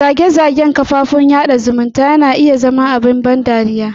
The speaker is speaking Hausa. Zage-zagen kafofin sada zumunta na iya zama abin ban dariya.